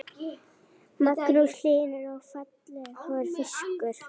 Magnús Hlynur: Og fallegur fiskur?